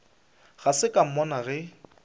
ga se ka mmona ge